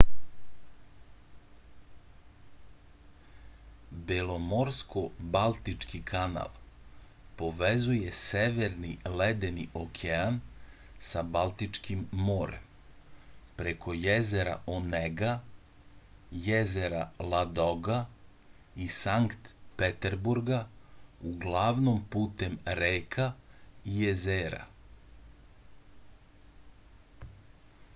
belomorsko-baltički kanal povezuje severni ledeni okean sa baltičkim morem preko jezera onega jezera ladoga i sankt peterburga uglavnom putem reka i jezera